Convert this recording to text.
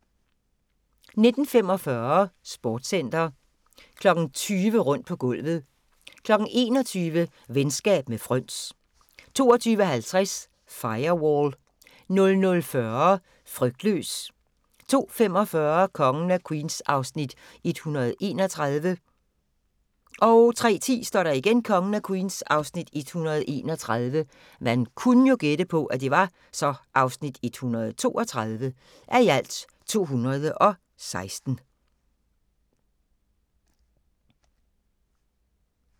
19:45: Sportscenter 20:00: Rundt på gulvet 21:00: Venskab med fryns 22:50: Firewall 00:40: Frygtløs 02:45: Kongen af Queens (131:216) 03:10: Kongen af Queens (131:216)